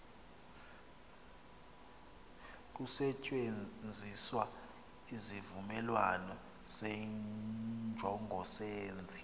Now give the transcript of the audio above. kusetyenziswa isivumelanisi senjongosenzi